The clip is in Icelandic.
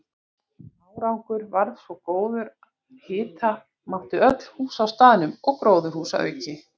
Árangur varð svo góður að hita mátti öll hús á staðnum og gróðurhús að auki.